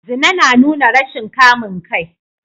Zina na nuna rashin kamun kai